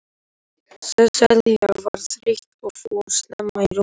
Sesselja var þreytt og fór snemma í rúmið.